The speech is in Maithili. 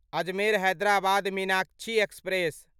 अजमेर हैदराबाद मीनाक्षी एक्सप्रेस